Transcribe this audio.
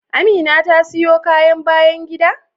Amina ta siyo kayan bayan gida?